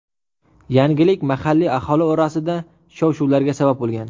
Yangilik mahalliy aholi orasida shov-shuvlarga sabab bo‘lgan.